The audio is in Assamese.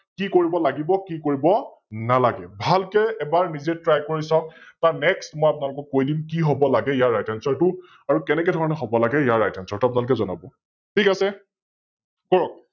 কি কৰিব লাগিব আৰু কি কৰিব নালাগে? ভালকৈ এবাৰ নিজে Try কৰি চাওক তাৰ Next মই আপোনালোকক কৈ দিম কি হব লাগে ইয়াৰ RightAnswer টো আৰু কেনেকে ধৰণে হব লাগে ইয়াৰ RightAnswer টো আপোনালোকে জনাব । ঠিক আছে, কৰক?